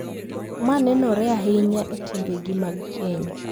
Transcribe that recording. Ma nenore ahinya e timbegi mag keny.